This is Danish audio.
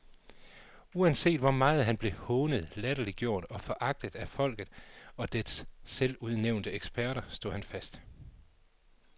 Uanset hvor meget han blev hånet, latterliggjort og foragtet af folket og dets selvudnævnte eksperter, stod han fast.